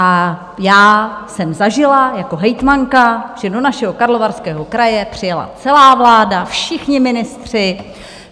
A já jsem zažila jako hejtmanka, že do našeho Karlovarského kraje přijela celá vláda, všichni ministři.